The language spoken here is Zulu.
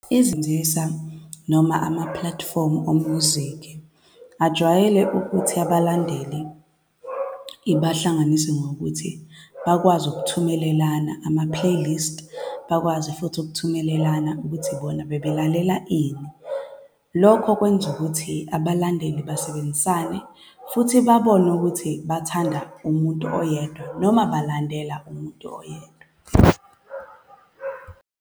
Izinzisa noma ama-platform o-music ajwayele ukuthi abalandeli ibahlanganise ngokuthi bakwazi ukuthumelelana ama-playlist. Bakwazi futhi ukuthumelelana ukuthi bona bebelalela ini. Lokho kwenza ukuthi abalandeli basebenzisane, futhi babone ukuthi bathanda umuntu oyedwa, noma balandela umuntu oyedwa.